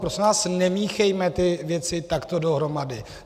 Prosím vás, nemíchejme ty věci takto dohromady.